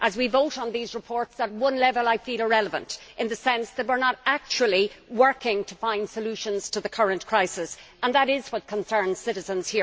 As we vote on these reports, on one level I feel irrelevant, in the sense that we are not actually working to find solutions to the current crisis and that is what concerns citizens.